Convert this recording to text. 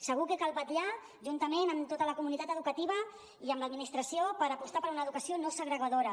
segur que cal vetllar juntament amb tota la comunitat educativa i amb l’administració per apostar per una educació no segregadora